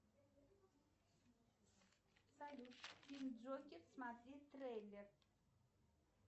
салют фильм джокер смотреть трейлер